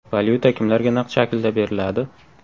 Valyuta kimlarga naqd shaklda beriladi?.